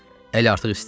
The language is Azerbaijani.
Əl artıq isti idi.